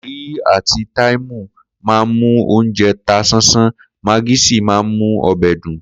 Ko̩rí àti táìmù máa ń mú oúnje̩ ta sánsán, magí sì máa ń mú o̩bè̩ dùn